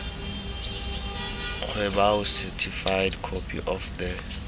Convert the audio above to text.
kgweboa certified copy of the